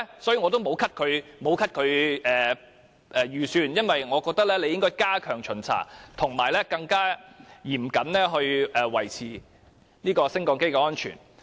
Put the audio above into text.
所以，我並沒有提出削減其預算，我認為機電署應該加強巡查及更嚴謹地維持升降機的安全。